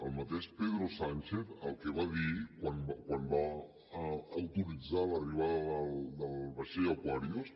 el mateix pedro sánchez el que va dir quan va autoritzar l’arribada del vaixell aquarius